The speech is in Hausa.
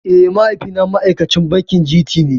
Eh mahaifi na ma'aikacin bankin G.T ne